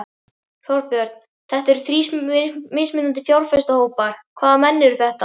Þorbjörn: Þetta eru þrír mismunandi fjárfestahópar, hvaða menn eru þetta?